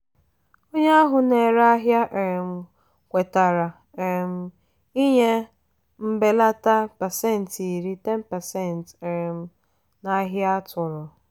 onye ahụ na-ere ahịa um kwetara um ịnye mbelata pasentị iri (10%) um n'ahia atụ̀rụ̀.